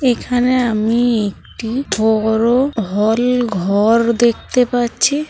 এখানে আমি একটি বড়ো হল ঘর দেখতে পাচ্ছি।